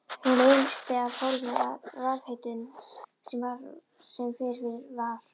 Hún leysti af hólmi rafhitun sem fyrir var.